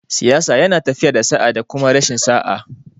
Siyasa yana tafiya da sa'a da kuma rashin sa'a